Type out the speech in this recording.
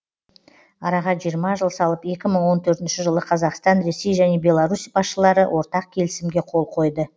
араға жиырма жыл салып екі мың он төртінші жылы қазақстан ресей және беларусь басшылары ортақ келісімге қол қойды